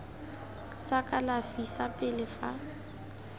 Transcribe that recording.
sa kalafi sa pele fa